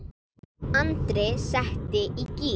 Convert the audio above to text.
Andri setti í gír.